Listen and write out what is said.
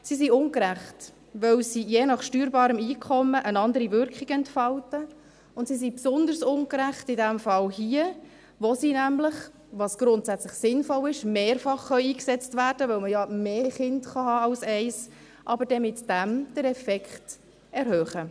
Sie sind ungerecht, weil sie je nach steuerbarem Einkommen eine andere Wirkung entfalten, und sie sind in diesem Fall hier besonders ungerecht, weil sie nämlich, was grundsätzlich sinnvoll ist, mehrfach eingesetzt werden können, weil man ja mehr als ein Kind haben kann, aber der Effekt damit erhöht wird.